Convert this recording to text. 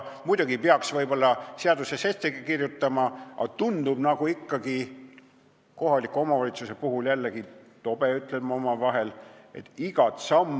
Võib-olla peaks selle ka seaduses ette kirjutama, aga tundub ikkagi tobe – ütlen seda omavahel – sätestada kohaliku omavalitsuse kõiki samme.